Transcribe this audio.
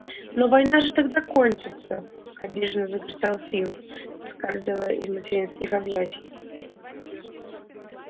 но война же тогда кончится обиженно закричал фил выскальзывая из материнских объятий